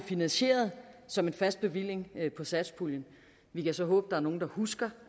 finansieret som en fast bevilling fra satspuljen vi kan så håbe er nogle der husker